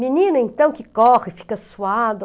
Menino, então, que corre, fica suado.